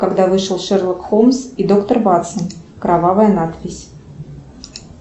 когда вышел шерлок холмс и доктор ватсон кровавая надпись